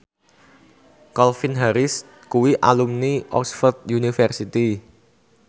Calvin Harris kuwi alumni Oxford university